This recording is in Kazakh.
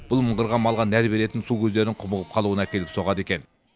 бұл мыңғырған малға нәр беретін су көздерінің құмығып қалуына әкеліп соғады екен